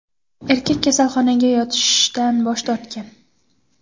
Erkak kasalxonaga yotishdan bosh tortgan.